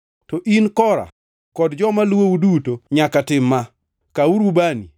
To in, Kora, kod joma luwou duto nyaka tim ma: Kawuru ubani